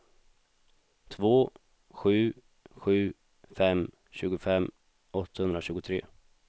två sju sju fem tjugofem åttahundratjugotre